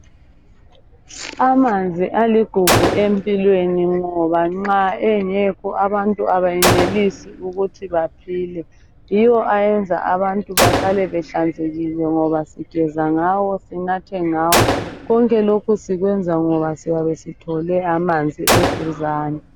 Amanzi aligugu empilweni ngoba nxa engekho abantu abenelisi ukuthi baphile. Yiwo ayenza abantu bahlale behlanzekile ngoba sigeza ngawo sinathe ngawo. Konke lokhu sikwenza ngoba siyabe sithole amanzi eduzane.